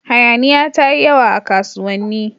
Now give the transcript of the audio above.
Hayaniya ta yi yawa a kasuwanni.